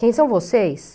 Quem são vocês?